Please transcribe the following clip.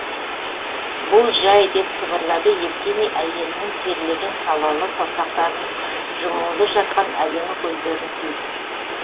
бұл жай деп сыбырлады евгений әйелінің терлеген салалы саусақтарын жұмулы жатқан әдемі көздерін сүйіп